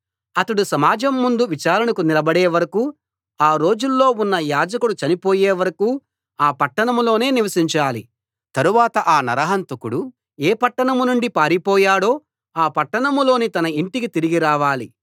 అతడు సమాజం ముందు విచారణకు నిలబడే వరకూ ఆ రోజుల్లో ఉన్న యాజకుడు చనిపోయే వరకూ ఆ పట్టణంలోనే నివసించాలి తరువాత ఆ నరహంతకుడు ఏ పట్టణం నుండి పారిపోయాడో ఆ పట్టణంలోని తన ఇంటికి తిరిగి రావాలి